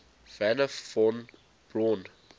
wernher von braun